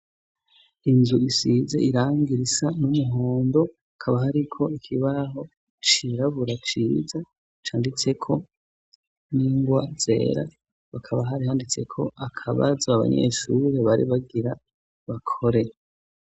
Inzu isize irangira isa n'umuhondo akaba hariko ikibaho cirabura ciza canditseko n'ingwa zera bakaba hari handitse ko akabaza abanyeshure bari bagira bakore.